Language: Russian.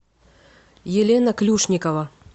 елена клюшникова